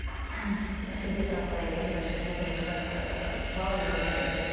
сізге сұрақ қояйын дегенмін бірінші мүмкіндік болса ыыы бала кезден бастайықшы